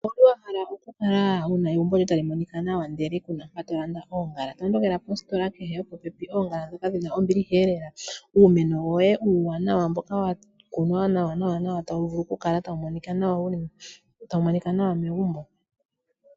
Owuli wahala oku kala wuna egumbo lyoye tali monika nawa ndele kuna mpoka to vulu oku landa oongala, tondokela postola kehe yopopepi nangoye. Oongala dhoka dhina ombilihelela, uumeno woye uwanawa mbyoka wakunwa nawanawa tawu vulu oku kala tawu monika nawa megumbo.